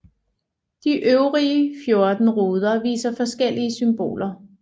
De øvrige 14 ruder viser forskellige symboler